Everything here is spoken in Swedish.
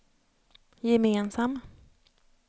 gemensam